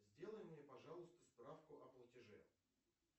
сделай мне пожалуйста справку о платеже